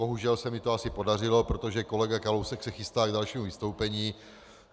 Bohužel se mi to asi podařilo, protože kolega Kalousek se chystá k dalšímu vystoupení.